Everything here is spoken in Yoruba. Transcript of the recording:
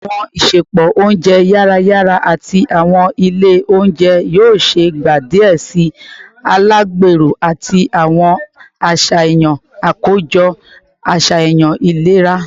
Awọn isẹpo ounjẹ yara yara ati awọn ile ounjẹ yoo ṣee gba diẹ sii alagbero ati awọn aṣayan akojọ aṣayan ilera